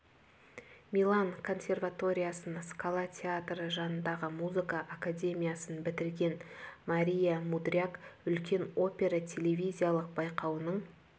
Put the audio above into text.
милан консерваториясын скала театры жанындағы музыка академиясын бітірген мария мудряк үлкен опера телевизиялық байқауының